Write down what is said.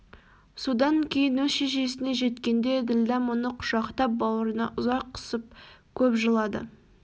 содан кейін өз шешесіне жеткенде ділдә мұны құшақтап бауырына ұзақ қысып көп жылады